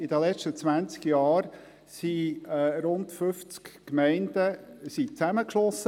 In den letzten 20 Jahren wurden rund 50 Gemeinden zusammengeschlossen.